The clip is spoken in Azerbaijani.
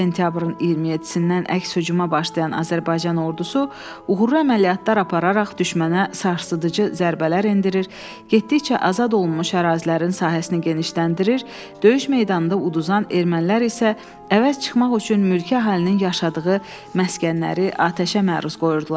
Sentyabrın 27-dən əks hücuma başlayan Azərbaycan ordusu uğurlu əməliyyatlar apararaq düşmənə sarsıdıcı zərbələr endirir, getdikcə azad olunmuş ərazilərin sahəsini genişləndirir, döyüş meydanında uduzan ermənilər isə əvəz çıxmaq üçün mülki əhalinin yaşadığı məskənləri atəşə məruz qoyurdular.